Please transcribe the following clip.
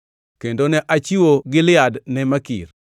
Kendo ne achiwo Gilead ne Makir.